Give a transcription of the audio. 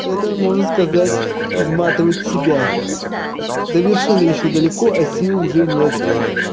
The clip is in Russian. это можно сказать изматывать себя до вершины ещё далеко а сил уже нет